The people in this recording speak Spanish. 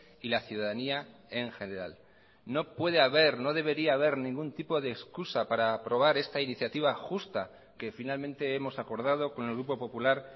y la ciudadanía en general no puede haber no debería haber ningún tipo de excusa para aprobar esta iniciativa justa que finalmente hemos acordado con el grupo popular